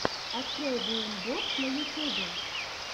открой вээмбоб на ютюбе